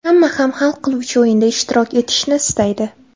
Hamma ham hal qiluvchi o‘yinda ishtirok etishni istaydi.